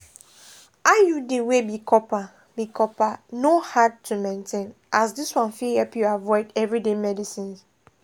iud wey be copper be copper no hard to maintain as this one fit help you avoid everyday medicines.